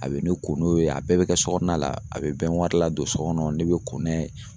A bɛ ne ko n'o ye a bɛɛ bɛ kɛ sokɔnɔna la a bɛ la don so kɔnɔ ne bɛ ko n'a ye.